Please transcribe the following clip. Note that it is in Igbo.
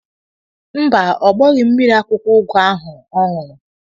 Mba, ọ gbọghị mmiri akwụkwọ ugu ahụ ọ ṅụrụ.